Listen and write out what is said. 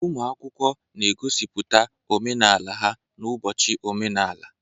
Ụmụ akwụkwọ na-egosipụta omenala ha n'ụbọchị omenala.